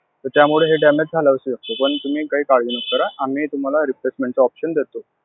त्यामुळे हे damage झालं असेल. पण तुम्ही काही काळजी नका करा. आम्ही तुम्हाला replacement च option देतो.